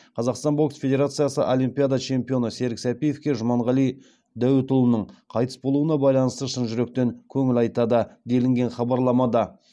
қазақстан бокс федерациясы олимпиада чемпионы серік сәпиевке жұманғали дәуітұлының қайтыс болуына байланысты шын жүректен көңіл айтады делінген хабарламада